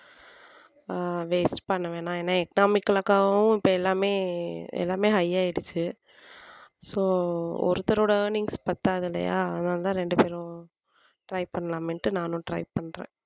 ஆஹ் waste பண்ண வேணாம் ஏன்னா economical க்காவும் இப்ப எல்லாமே எல்லாமே high ஆயிடுச்சு so ஒருத்தரோட earnings பத்தாது இல்லையா அதனாலதான் ரெண்டு பேரும் try பண்ணலாமேன்னுட்டு நானும் try பண்றேன்